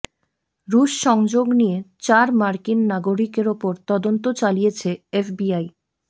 রুশ সংযোগ নিয়ে চার মার্কিন নাগরিকের ওপর তদন্ত চালিয়েছে এফবিআই